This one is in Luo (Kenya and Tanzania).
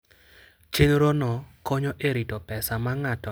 Chenrono konyo e rito pesa ma ng'ato nyalo tiyogo e weche mag wuoth.